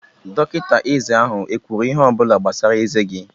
Dọkịta eze ahụ e kwuru ihe ọ bụla gbasara eze gị?